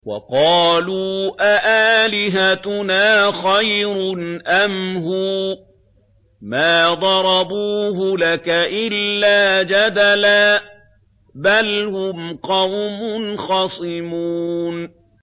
وَقَالُوا أَآلِهَتُنَا خَيْرٌ أَمْ هُوَ ۚ مَا ضَرَبُوهُ لَكَ إِلَّا جَدَلًا ۚ بَلْ هُمْ قَوْمٌ خَصِمُونَ